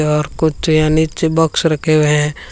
और कुछ यहाँ नीचे बॉक्स रखे हुए हैं।